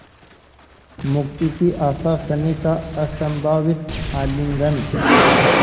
मुक्ति की आशास्नेह का असंभावित आलिंगन